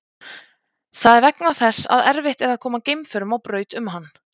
Það er vegna þess að erfitt er að koma geimförum á braut um hann.